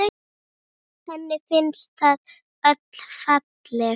Henni finnst þau öll falleg.